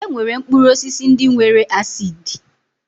E nwere mkpụrụ osisi ndị nwere acidi